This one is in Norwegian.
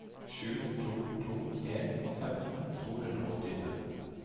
sju to to en femten to hundre og åttifem